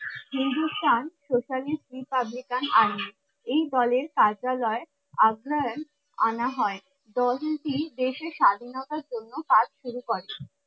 Hindusthan Socialist Republican Army, এই দলের কার্যালয় আপনার আনা হয় দেশের স্বাধীনতার জন্য কাজ শুরু করে